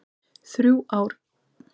Þrjú í röð frá Val.